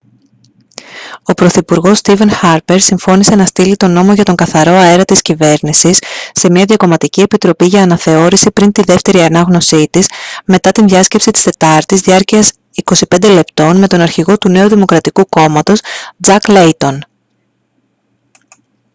ο πρωθυπουργός στήβεν χάρπερ συμφώνησε να στείλει τον «νόμο για τον καθαρό αέρα» της κυβέρνησης σε μια διακομματική επιτροπή για αναθεώρηση πριν τη δεύτερη ανάγνωσή της μετά την διάσκεψη της τετάρτης διάρκειας 25 λεπτών με τον αρχηγό του νέου δημοκρατικού κόμματος τζακ λέιτον